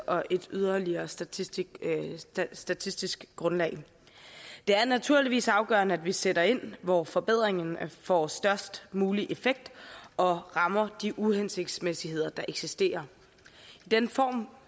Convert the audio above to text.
og et yderligere statistisk statistisk grundlag for det er naturligvis afgørende at vi sætter ind hvor forbedringen får størst mulig effekt og rammer de uhensigtsmæssigheder der eksisterer den form